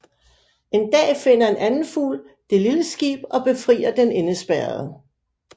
En dag finder en anden fugl det lille skib og befrier den indespærrede